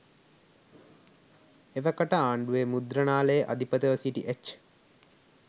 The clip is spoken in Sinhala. එවකට ආණ්ඩුවේ මුද්‍රණාලයේ අධිපතිව සිටි එච්.